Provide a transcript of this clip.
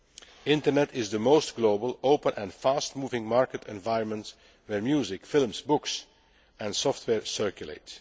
The Internet is the most global, open and fast moving market environment, where music, films, books and software circulate.